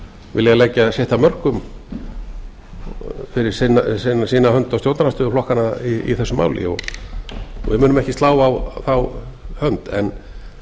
vilja leggja sitt af mörkum fyrir sína hönd og stjórnarandstöðuflokkanna í þessu máli við munum ekki slá á þá hönd en